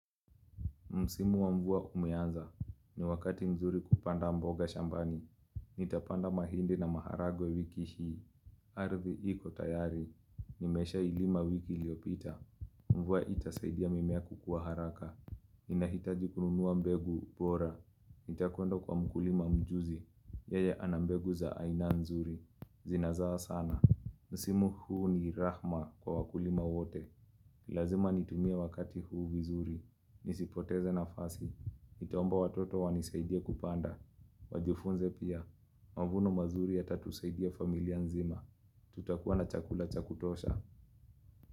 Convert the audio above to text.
Msimu wa mvua umeanza. Ni wakati mzuri kupanda mboga shambani. Nitapanda mahindi na maharagwe wiki hii. Ardhi iko tayari. Nimesha ilima wiki liopita. Mvua itasaidia mimea kukua haraka. Ninahitaji kununua mbegu bora. Nitakwenda kwa mkulima mjuzi. Yeye anambegu za aina nzuri. Zinazaa sana. Msimu huu ni rahma kwa wakulima wote. Lazima nitumie wakati huu vizuri. Nisipoteze nafasi Nitaomba watoto wanisaidie kupanda Wajifunze pia mavuno mazuri yatatusaidia familia nzima Tutakua na chakula cha kutosha.